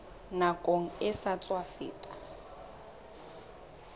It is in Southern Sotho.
nakong e sa tswa feta